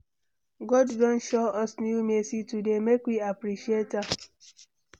God don show us new mercy today, make we appreciate am.